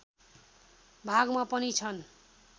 भागमा पनि छन्